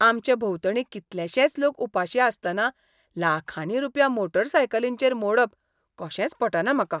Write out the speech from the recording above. आमचे भोंवतणी कितलेशेंच लोक उपाशी आसतना लाखांनी रुपया मोटरसायकलींचेर मोडप कशेंच पटना म्हाका.